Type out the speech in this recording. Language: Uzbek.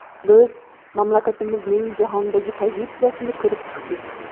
Biz mamlakatimizning jahondagi pozitsiyasini ko‘rib chiqdik.